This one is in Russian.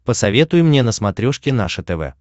посоветуй мне на смотрешке наше тв